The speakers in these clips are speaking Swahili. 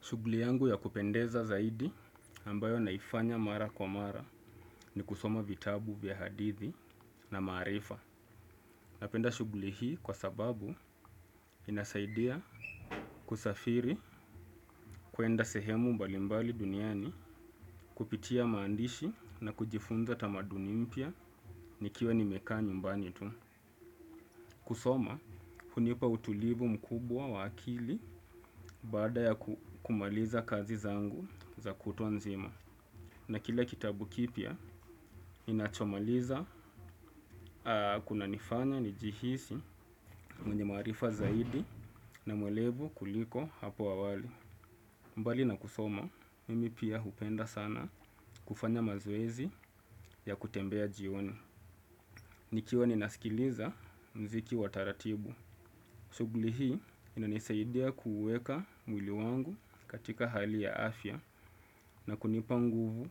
Shugli yangu ya kupendeza zaidi ambayo naifanya mara kwa mara ni kusoma vitabu vya hadithi na maarifa. Napenda shugli hii kwa sababu inasaidia kusafiri kuenda sehemu mbalimbali duniani kupitia maandishi na kujifunza tamaduni mpya nikiwa nimekaa nyumbani tu. Kusoma, hunipa utulivu mkubwa wa akili baada ya kumaliza kazi zangu za kutwa nzima. Na kila kitabu kipya, ninachomaliza kunanifanya nijihisi mwenye maarifa zaidi na mwelevu kuliko hapo awali. Mbali na kusoma, mimi pia hupenda sana kufanya mazoezi ya kutembea jioni. Nikiwa ninasikiliza mziki wa taratibu. Shugli hii inanisaidia kuweka mwili wangu katika hali ya afya na kunipa nguvu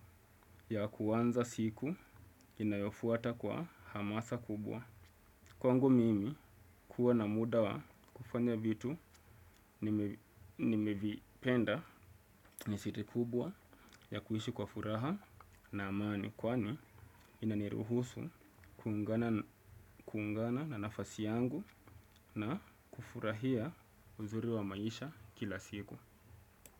ya kuanza siku inayofuata kwa hamasa kubwa. Kwangu mimi kuwa na muda wa kufanya vitu nimevipenda ni siri kubwa ya kuishi kwa furaha na amani. Kwani inaniruhusu kuungana na nafasi yangu na kufurahia uzuri wa maisha kila siku.